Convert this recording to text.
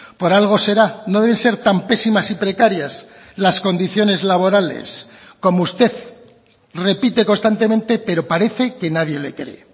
por algo será no deben ser tan pésimas y precarias las condiciones laborales como usted repite constantemente pero parece que nadie le cree